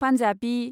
Punjabi